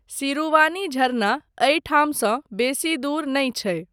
सिरुवानी झरना एहिठामसँ बेसी दूर नहि छै।